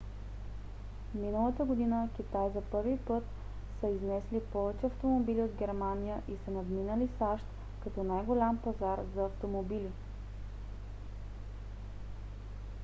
миналата година китай за първи път са изнесли повече автомобили от германия и са надминали сащ като най-голям пазар за автомобили